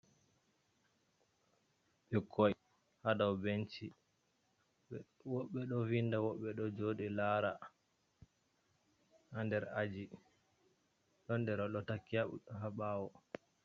Ɓikkoi ha dou benchi. Wobɓe ɗo vinda wobɓe ɗo joɗi lara ha nder aji ɗon nder ɗo taki ha bawo.